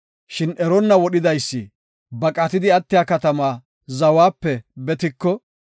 “Shin eronna wodhidaysi baqatidi attiya katamaa zawape betiko,